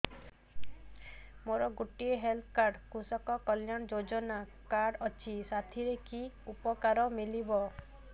ମୋର ଗୋଟିଏ health card କୃଷକ କଲ୍ୟାଣ ଯୋଜନା କାର୍ଡ ଅଛି ସାଥିରେ କି ଉପକାର ମିଳିବ